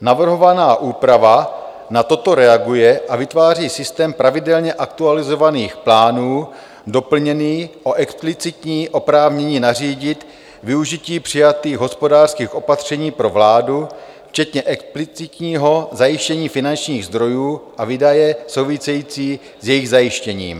Navrhovaná úprava na toto reaguje a vytváří systém pravidelně aktualizovaných plánů, doplněný o explicitní oprávnění nařídit využití přijatých hospodářských opatření pro vládu včetně explicitního zajištění finančních zdrojů, a výdaje související s jejich zajištěním.